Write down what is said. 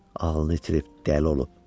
Ağlını itirib, dəli olub.